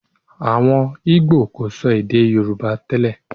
Àwọn ìgbò kò sọ èdè Yorùbá tẹ́lẹ̀